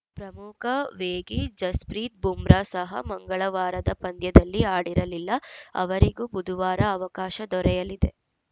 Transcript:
ಪ್ರಮುಖ ವೇಗಿ ಜಸ್‌ಪ್ರೀತ್‌ ಬೂಮ್ರಾ ಸಹ ಮಂಗಳವಾರದ ಪಂದ್ಯದಲ್ಲಿ ಆಡಿರಲಿಲ್ಲ ಅವರಿಗೂ ಬುಧವಾರ ಅವಕಾಶ ದೊರೆಯಲಿದೆ